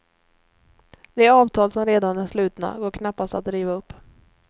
De avtal som redan är slutna går knappast att riva upp.